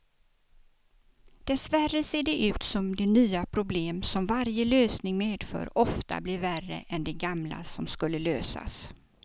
Dessvärre ser det ut som de nya problem som varje lösning medför ofta blir värre än de gamla som skulle lösas.